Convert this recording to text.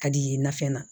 Ka di i ye nafɛn na